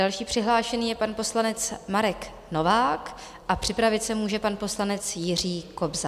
Další přihlášený je pan poslanec Marek Novák a připravit se může pan poslanec Jiří Kobza.